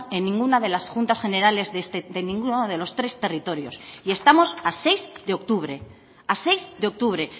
en ninguna de las juntas generales de ninguno de los tres territorios y estamos a seis de octubre a seis de octubre